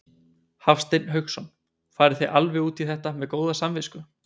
Hafsteinn Hauksson: Farið þið alveg út í þetta með góða samvisku?